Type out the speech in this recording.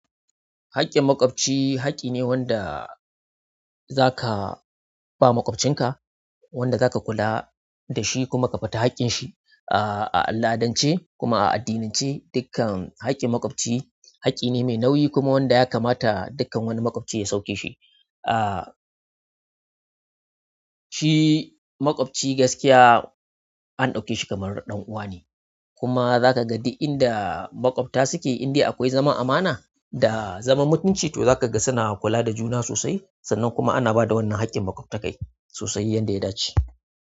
Haƙƙin makwabci haƙƙi ne wanda za ka ba makwabcinka, wanda za ka kula da shi kuma ka fita haƙƙin shi. Ah, a al'adance kuma a addinance dukkan haƙƙin makwabci haƙƙi ne mai nauyi kuma wanda ya kamata dukkan wani makwabci ya sauke shi. Ah, shi makwabci gaskiya an ɗauke shi kamar ɗan'uwa ne. Kuma za ka ga duk inda makwabta suke, inda akwai zaman amana da zaman mutunci to za ka ga suna kula da juna sosai. Sannan kuma ana ba da wannan haƙƙin makwabtaka sosai yanda ya dace.